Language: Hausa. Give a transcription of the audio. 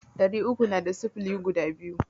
Ɗari uku na da sifili biyu.